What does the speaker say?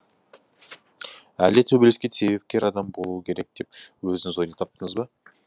әлде төбелеске себепкер адам болу керек деп өзіңіз ойлап таптыңыз ба